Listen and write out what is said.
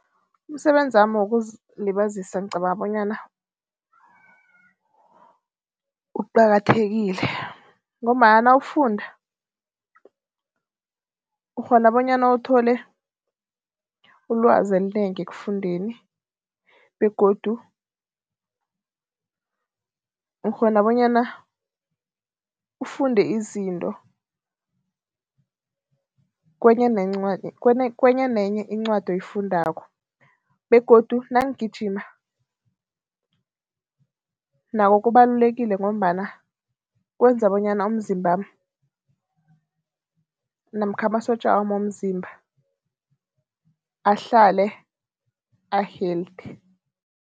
Umsebenzami wokuzilibazisa ngicabanga bonyana uqakathekile ngombana nawufunda, ukghona bonyana uthole ulwazi elinengi ekufundeni begodu ukghona bonyana ufunde izinto kwenye nenye incwadi oyifundako begodu nangigijima, nakho kubalulekile ngombana kwenza bonyana umzimbami namkha amasotja womzimba ahlale a-healthy.